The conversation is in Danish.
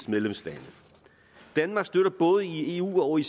medlemslande danmark støtter både i eu og i